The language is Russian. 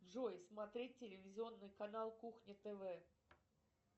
джой смотреть телевизионный канал кухня тв